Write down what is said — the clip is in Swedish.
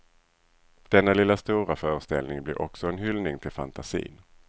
Denna lilla stora föreställning blir också en hyllning till fantasin.